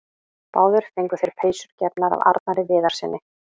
Báðir fengu þeir peysur gefnar af Arnari Viðarssyni.